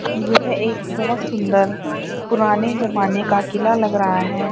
यह एक बहुत सुंदर पुराने जमाने का किला लग रहा है।